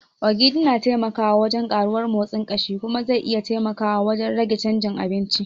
Ogiri na taimakawa wajen karuwar motsin kashi kuma zai iya taimakawa wajen rage chanjin abinci.